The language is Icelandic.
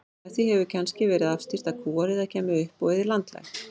Með því hefur kannski verið afstýrt að kúariða kæmi upp og yrði landlæg.